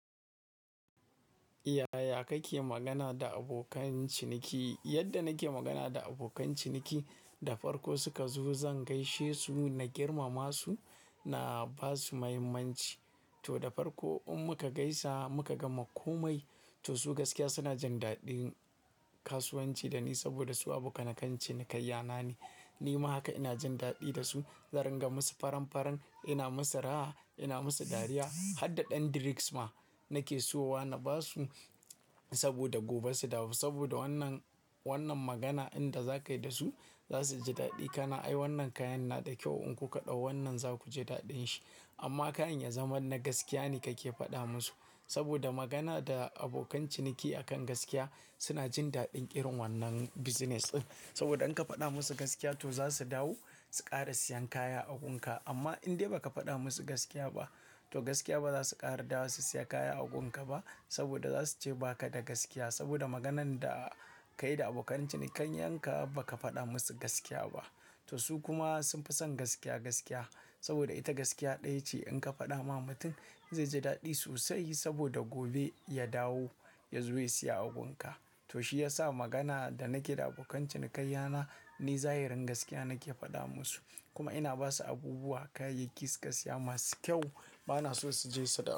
Yaya kake magana da abokan ciniki? Yadda nake magana da abokan ciniki, da farko suka zo zan gaishe su, na girmama su, na ba su muhimmanci. To, da farko in muka gaisa muka gama komai, to su gaskiya suna jin daɗin kasuwanci da ni saboda su abokanakan cinikanya na ne. Ni ma haka ina jin daɗi da su. Zan ringa musu faran-faran, ina musu raha, ina musu dariya. Har da ɗan drinks ma nake siyowa na ba su saboda gobe su dawo. Saboda wannan, wannan magana inda za ka yi da su za su ji daɗi. Kana ai wannan kayan na da kyau in kun kaɗau wannan za ku ji daɗin shi. Amma kayin ya zama na gaskiya ne kake faɗa musu. Saboda magana da abokan ciniki akan gaskiya suna jin daɗin irin wannan business ɗin. Saboda in ka faɗa musu gaskiya to za su dawo su ƙara siyan kaya a gunka. Amma in dai ba ka faɗa musu gaskiya ba, to gaskiya ba za su ƙara dawowa su siya kaya a gunka ba saboda za su ce ba ka da gaskiya. Saboda maganan da ka yi da abokan cinikayanka ba ka faɗa musu gaskiya ba. To su kuma sun fi son gaskiya, gaskiya. Saboda ita gaskiya ɗaya ce in ka faɗa ma mutum zai ji daɗi sosai saboda gobe ya dawo ya zo ya siya a gunka. To shi yasa magana da nake da abokan ciniki yana ni zahirin gaskiya nake faɗa musu. Kuma ina ba su abubuwa, kayayyaki su ƙa siya masu kyau. Ba na so su je su dawo.